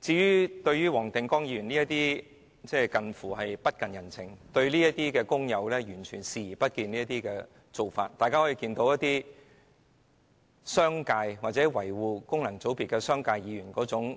至於黃定光議員近乎不近人情、完全漠視工友的做法，反映商界及維護功能界別的議員的醜